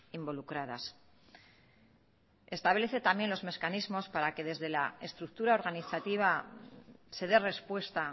involucradas establece también los mecanismos para que desde la estructura organizativa se dé respuesta